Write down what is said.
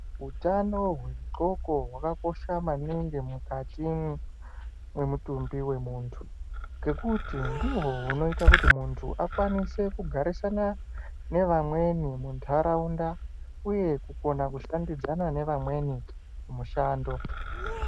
Utano hwexoko hwakakosha maningi mukati mwemutumbi wemuntu ngekuti ndihwo hunoita kuti muntu akwanise kugarisana nevamweni muntaraunda uye kukona kushandidzana nevamweni kumushando.